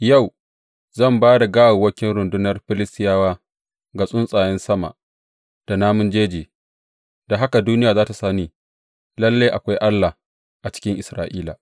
Yau, zan ba da gawawwakin rundunar Filistiyawa ga tsuntsayen sama da namun jeji, da haka duniya za tă sani lalle akwai Allah a cikin Isra’ila.